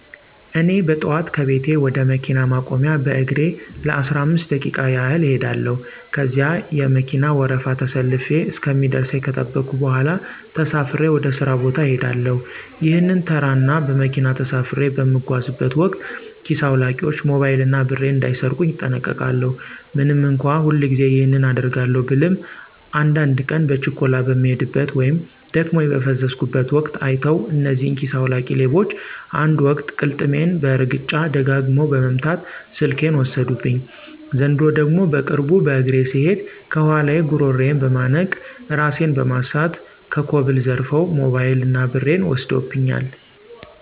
እኔ በጠዋት ከቤቴ ወደ መኪና ማቆሚያ በእግሬ ለአስራአምስት ደቂቃ ያህል እኸዳለው። ከዚያ የመከና ወረፋ ተሰልፌ እስከሚደርሰኝ ከጠበኩ በኋላ ተሳፍሬ ወደ ሥራ ቦታ እሄዳለሁ። ይህንን ተራ እና በመኪና ተሳፍሬ በምጓዝበት ወቅት ኪስ አዉላቂዎች ሞባይል እና ብሬን እንዳይሰርቁኝ እጠነቀቃለው። ምንም እንኳ ሁልጊዜ ይህንን አደርጋለው ብልም አንዳድ ቀን በችኮላ በምሄድበት ወይም ደክሞኝ በፈዘዝኩበት ወቅት አይተዉ እነዚህ ኪሰ አዉላቂ ሌቦች አንድ ወቅት ቅልጥሜን በእርግጫ ደጋግመው በመምት ስልኬን ወሰዱብኝ፤ ዘንድሮ ደግሞ በቅርቡ በእግሬ ስሄድ ከኋላየ ጉረሮየን በመነቅ እራሴን በማሳት ከኮብል ዘርረዉ ሞበይል እና ብሬን ወስደውብኛል።